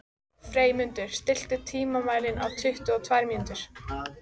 Freymundur, stilltu tímamælinn á tuttugu og tvær mínútur.